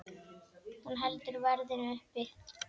Hún heldur verðinu uppi.